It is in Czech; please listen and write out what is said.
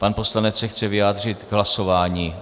Pan poslanec se chce vyjádřit k hlasování.